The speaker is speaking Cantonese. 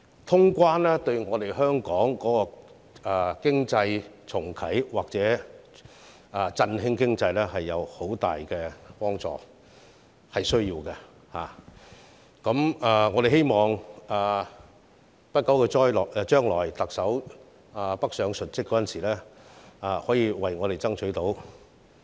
通關對香港重啟或振興經濟有很大幫助，是需要的，我們希望特首不久的將來北上述職的時候，可以為我們爭取到。